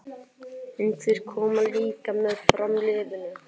En þeir koma líka með framliðnum.